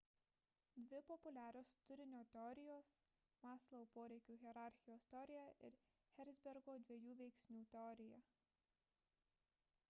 dvi populiarios turinio teorijos – maslow poreikių hierarchijos teorija ir herzbergo dviejų veiksnių teorija